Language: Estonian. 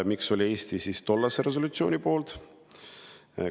Miks oli Eesti tollase resolutsiooni poolt?